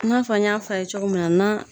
I n'a fɔ an y'a f'a ye cogo min na na